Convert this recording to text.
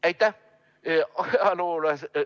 Aitäh!